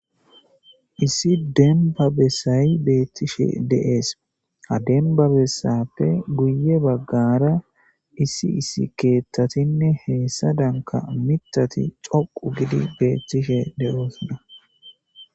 Issi denbba bessay beetishe de7ees ha dembba bessape guye baggara issi keeththatinne hessadan miththati dhoqqu giidi beetishe de7oosona